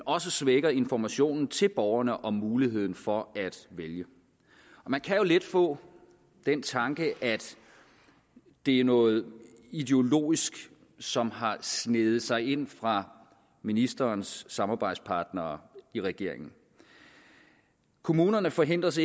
også svækker informationen til borgerne om muligheden for at vælge man kan jo let få den tanke at det er noget ideologisk som har sneget sig ind fra ministerens samarbejdspartnere i regeringen kommunerne forhindres